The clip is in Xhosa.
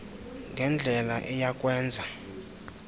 ngendlela eya kwenza